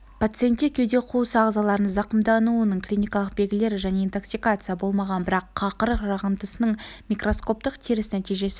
пациентте кеуде қуысы ағзаларының зақымдануының клиникалық белгілері және интоксикация болмаған бірақ қақырық жағындысының микроскоптық теріс нәтижесі